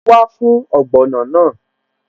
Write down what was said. Màá wá fún ogbono náà